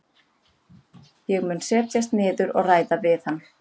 Ég mun setjast niður og ræða við hann.